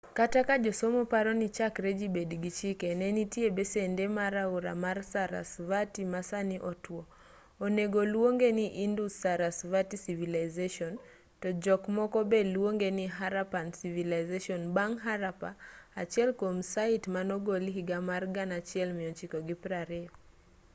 kata ka josomo paroni chakre ji bed gi chike ne nitie besende mar aora mar sarasvati ma sani otuo onego oluongeni indus-sarasvati civilization to jok moko be luongeni harappan civilization bang' harappa achiel kuom sait manogol higa mar 1920